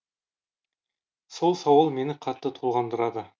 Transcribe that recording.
сол сауал мені қатты толғандырады